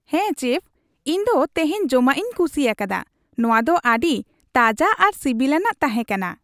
ᱦᱮᱸ, ᱪᱮᱯᱷ, ᱤᱧ ᱫᱚ ᱛᱮᱦᱮᱧ ᱡᱚᱢᱟᱜ ᱤᱧ ᱠᱩᱥᱤᱭᱟᱠᱟᱫᱟ ᱾ ᱱᱚᱶᱟ ᱫᱚ ᱟᱹᱰᱤ ᱛᱟᱡᱟ ᱟᱨ ᱥᱤᱵᱤᱞ ᱟᱱᱟᱜ ᱛᱟᱦᱮᱸ ᱠᱟᱱᱟ ᱾